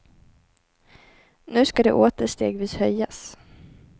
Nu ska det åter stegvis höjas.